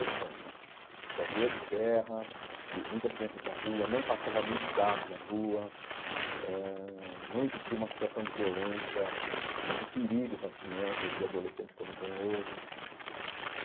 Sessenta então, ruas de terra, cri muitas crianças na rua, não passava muitos carros na rua, eh ãh não existia uma situação de violência e de perigo para as crianças e adolescentes como tem hoje.